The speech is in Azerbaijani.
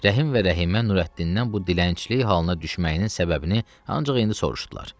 Rəhim və Rəhimə Nurəddindən bu dilənçilik halına düşməyinin səbəbini ancaq indi soruşdular.